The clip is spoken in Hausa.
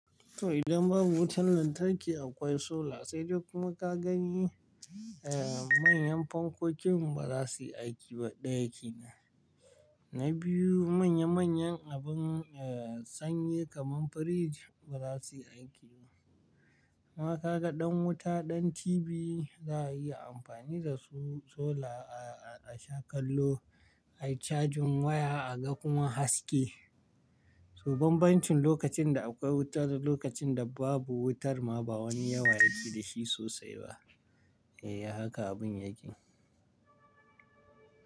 To idan babu wutar lantarki akwai sola sai dai kuma ka gani manyan fankokin ba za su yi aiki ba ɗaya ke nan. Na biyu manya manyan abin sanyi kaman firij ba za su yi aiki ba. Amma ka ga ɗan wuta ɗan TV za a iya amfani da su solar a sha kallo ai cajin waya a ga kuma haske. So ban -bancin lokacin da akwai wuta da lokacin da babu wutar ma ba wani yawa yake da shi sosai ba. E, haka abin yake.